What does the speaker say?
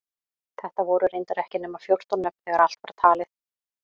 Þetta voru reyndar ekki nema fjórtán nöfn þegar allt var talið.